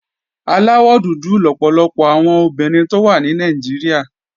Aláwọ̀ dúdú lọ̀pọ̀lọpọ̀ àwọn obìnrin tó wà ní Nàìjíríà